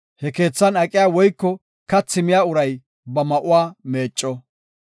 He keethan aqiya woyko kathi miya uray ba ma7uwa meecco.